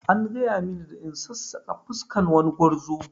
An gaya mini da in sassaƙa fuskan wani gwarzo